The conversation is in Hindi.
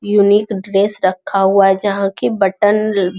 यूनिक ड्रेस रखा हुआ है जहाँ के बटन ल --